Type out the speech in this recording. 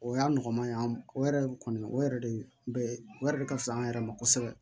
O y'a nɔgɔman ye o yɛrɛ o kɔni o yɛrɛ de bɛ o yɛrɛ de ka fisa an yɛrɛ ma kosɛbɛ